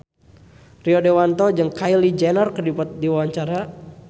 Rio Dewanto olohok ningali Kylie Jenner keur diwawancara